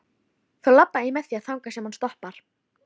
Þá labba ég með þér þangað sem hann stoppar.